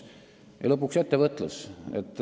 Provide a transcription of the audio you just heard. Ja lõpuks ettevõtlus.